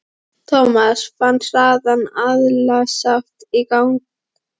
Thomas fann hraðan æðaslátt í gagnaugunum.